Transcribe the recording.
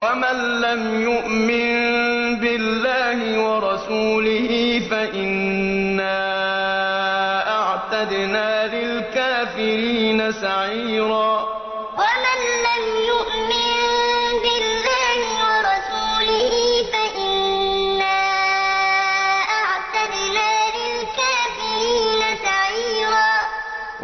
وَمَن لَّمْ يُؤْمِن بِاللَّهِ وَرَسُولِهِ فَإِنَّا أَعْتَدْنَا لِلْكَافِرِينَ سَعِيرًا وَمَن لَّمْ يُؤْمِن بِاللَّهِ وَرَسُولِهِ فَإِنَّا أَعْتَدْنَا لِلْكَافِرِينَ سَعِيرًا